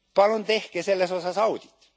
Palun tehke selles osas audit.